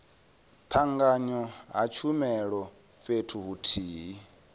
tanganywa ha tshumelo fhethu huthihi